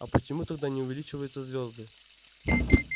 а почему тогда не увеличиваются звёзды